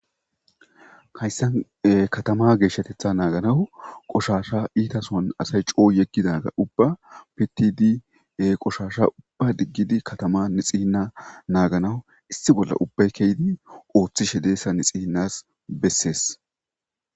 hayssan katama geeshshatetha naaganawu qoshasha iitason asay coo yeggidaga ubba pitidi qoshasha ubba diggidi katama nixihinna naaganawu issi bolla ubbay keydi ooththi shedeessa nixi hinnas bessees